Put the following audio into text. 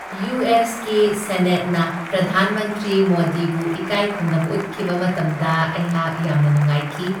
ꯌꯨ.ꯑꯦꯁ.ꯀꯤ ꯁꯦꯅꯦꯠꯅ ꯄ꯭ꯔꯙꯥꯟ ꯃꯟꯇ꯭ꯔꯤ ꯃꯣꯗꯤꯕꯨ ꯏꯀꯥꯏꯈꯨꯝꯅꯕ ꯎꯠꯈꯤꯕ ꯃꯇꯝꯗ ꯑꯩꯍꯥꯛ ꯌꯥꯝꯅ ꯅꯨꯡꯉꯥꯏꯈꯤ ꯫